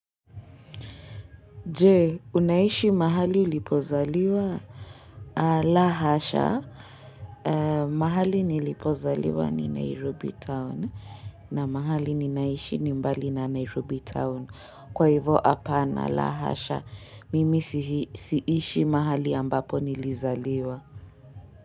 Je, unaishi mahali ulipozaliwa? La hasha, mahali nilipozaliwa ni Nairobi Town na mahali ninaishi ni mbali na Nairobi Town. Kwa hivo hapana, la hasha. Mimi siishi mahali ambapo nilizaliwa.